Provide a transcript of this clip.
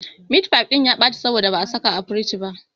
Mitfai ɗin ya ɓaci saboda ba a saka a firij ba.